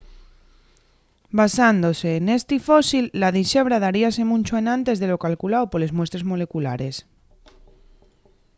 basándose nesti fósil la dixebra daríase muncho enantes de lo calculao poles muestres moleculares